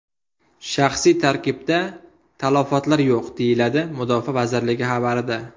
Shaxsiy tarkibda talafotlar yo‘q”, deyiladi Mudofaa vazirligi xabarida.